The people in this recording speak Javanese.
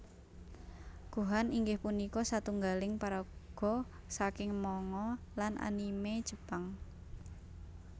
Gohan inggih punika satunggaling paraga saking manga lan anime Jepang